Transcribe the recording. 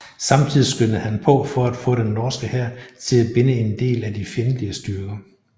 Samtidig skyndede han på for at få den norske hær til at binde en del af de fjendtlige styrker